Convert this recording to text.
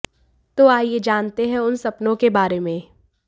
तो आइये जानते हैं उन सपनों के बारे में